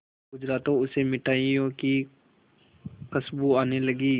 गुजरा तो उसे मिठाइयों की खुशबू आने लगी